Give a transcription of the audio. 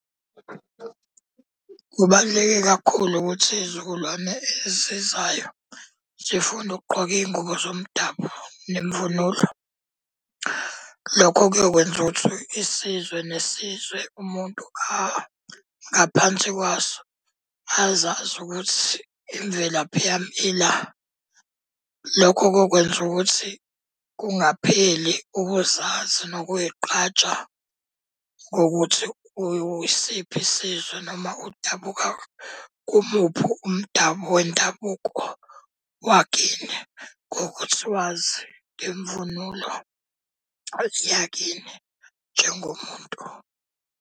Kubaluleke kakhulu ukuthi iy'zukulwane ezizayo zifunde ukugqoka iy'ngubo zomdabu nemvunulo. Lokho kuyokwenza ukuthi isizwe nesizwe umuntu angaphansi kwaso azazi ukuthi imvelaphi yami ila. Lokho kokwenza ukuthi kungapheli ukuzazi nokuy'qgaja ngokuthi uyisiphi isizwe noma udabuka kumuphi umdabu wendabuko wakini. Ngokuthi wazi ngemvunulo yakini njengomuntu.